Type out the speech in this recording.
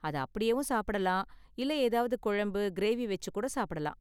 அத அப்படியேவும் சாப்பிடலாம் இல்ல ஏதாவது கொழம்பு, கிரேவி வெச்சு கூட சாப்பிடலாம்.